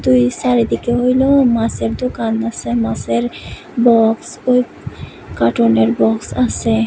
এইদিকে হইল মাসের দোকান আছে মাসের বক্স ও কার্টুনের বক্স আছে।